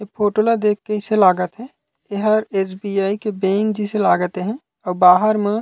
ए photo ला देख के अइसे लागत हे एहर एसबीआई के बैंक जइसे लागत हे अऊ बाहर म--